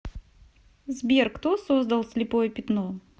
сбер кто создал слепое пятно